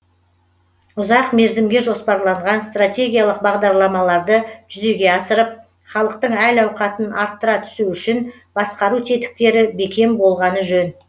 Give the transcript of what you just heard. ұзақ мерзімге жоспарланған стратегиялық бағдарламаларды жүзеге асырып халықтың әл ауқатын арттыра түсу үшін басқару тетіктері бекем болғаны жөн